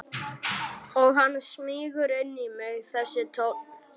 Og hann smýgur inn í mig þessi tónn.